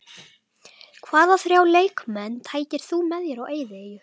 Hvaða þrjá leikmenn tækir þú með þér á eyðieyju?